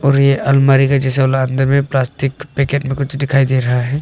और यह अलमारी के जैसा अंदर में प्लास्टिक पैकेट में कुछ दिखाई दे रहा है।